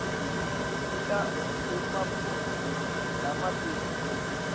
nika emaphuzu lamabili